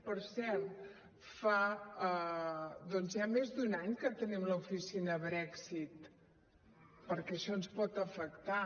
per cert fa doncs ja més d’un any que tenim l’oficina brexit perquè això ens pot afectar